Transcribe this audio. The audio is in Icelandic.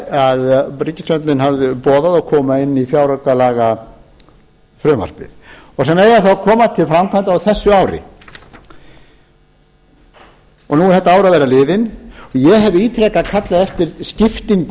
sem ríkisstjórnin hafði boðað og koma inn í fjáraukalagafrumvarpið og sem eiga þá að koma til framkvæmda á þessu ári nú er þetta ár að verða liðið ég hef ítrekað kallað eftir skiptingu